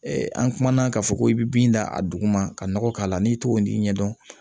an kumana k'a fɔ ko i bɛ bin da a duguma ka nɔgɔ k'a la n'i t'o ɲɛdɔn